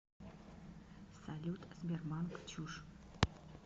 салют сбербанк чушь